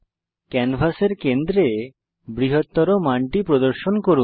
ক্যানভাসের কেন্দ্রে বৃহত্তর মানটি প্রদর্শন করুন